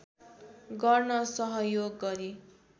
गर्न सहयोग गरे